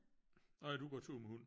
Nå ja du går tur med hund